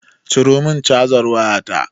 Ciro min cazar wayata